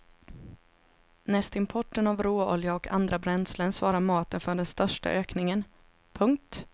Näst importen av råolja och andra bränslen svarar maten för den största ökningen. punkt